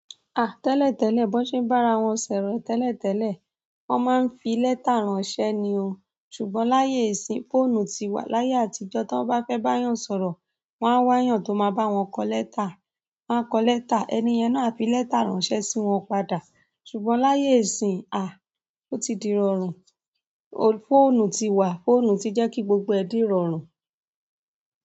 Ah! Tẹ́lẹ̀tẹ́lẹ̀, bọ́n ṣe n bá ra wọn ṣorọ tẹ́lẹ̀tẹ́lẹ̀, a máa ń fi lẹ́tà ránṣẹ́ ni o. Ṣùgbọ́n láyé ìsìn, fóònù ti wà. Láyé àtijọ́, tí wọ́n bá fẹ́ bá yàn sọ̀rọ̀, wọ́n á wá yàn tó máa bá wọn kọ lẹ́tà. Wọ́n á kọ lẹ́tà, ẹni yẹn náà á fi lẹ́tà ránṣẹ́ sí wọn padà. Ṣùgbọ́n láyé ìsìn, aah! Ó ti di rọrùn. Fóònù tiwa, fóònù ti je ki gbogbo e di rọrùn.